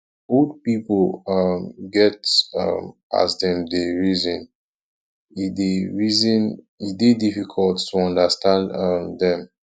old pipo um get um as dem dey reason e dey reason e dey difficult to understand um dem